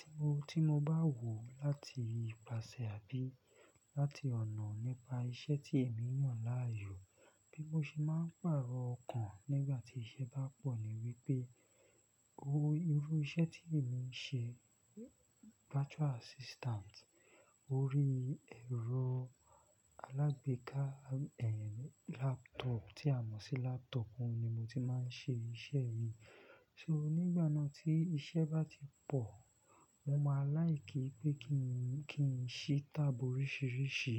Ti mo, ti mo bá wò láti ìpáṣẹ àbí láti ọ̀nà nípa iṣẹ́ tí èmi mọ̀ láàyò, bí mo ṣe máa ń pàrọ̀ ọkàn nígbà tí iṣẹ́ bá pọ̀ ni wípé, owó irú iṣẹ́ tí èmi ń ṣe virtual assistant orí ẹ̀rọ alágbèéká, ẹ́, laptop tí a mọ̀ sí laptop, ó ni mo ti máa ń ṣe iṣẹ́ mi. So nígbà náà tí iṣẹ́ bá ti pọ̀, mo máa láì kí pé kí n, kí n ṣí tab oríṣiríṣi.